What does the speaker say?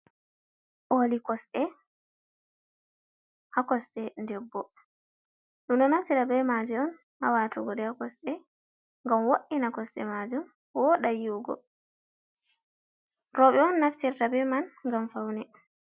Koli kosɗe ha kosɗe debbo ɗum ɗo naftira be maaji on ha watugo ɗii ha kosde ngam wo’ina kosɗe majum woɗa yiwugo roɓe on naftirta be man ngam faune.